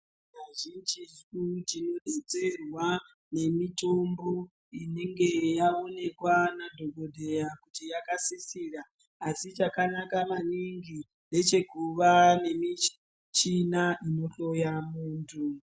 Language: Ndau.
Kazhinji tu tinodetsera nemitombo inenge yaonekwa nadhogodheya kuti yakasisira asi chakanaka maningi ndechekuva nemuchini ino hloya muntu.